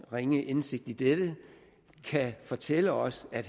ringe indsigt i dette kan fortælle os at